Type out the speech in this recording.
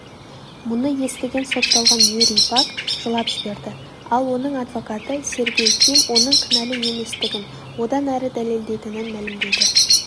мұны естіген сотталған юрий пак жылап жіберді ал оның адвокаты сергей ким оның кінәлі еместігін одан әрі дәлелдейтінін мәлілмдеді